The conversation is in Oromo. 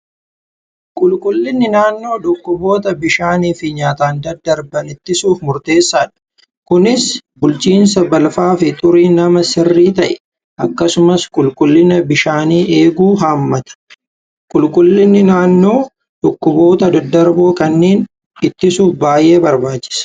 Qulqullinni naannoo dhukkuboota bishaaniif nyaataan daddarboo ta'an ittisuuf gahee olaanaa qaba. Naannoo qulqulluu yookiin balfi hin jirre, bishaan qulqulluu fi qilleensi qulqulluun fayyaa namaa barbaachisoodha.